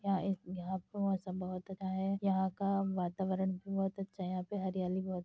यहाँ यहां पे मौसम बहोत अच्छा है। यहां का वातावरण भी बहोत अच्छा है। यहां पे हरियाली बहोत --